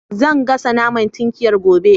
Zan gasa naman tinkiyar gobe